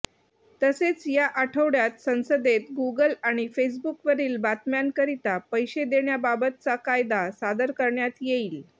तसेच या आठवड्यात संसदेत गूगल आणि फेसबुकवरील बातम्यांकरिता पैशे देण्याबाबतचा कायदा सादर करण्यात येईल